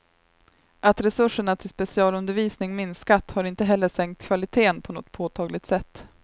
Att resurserna till specialundervisning minskat har inte heller sänkt kvaliteten på något påtagligt sätt.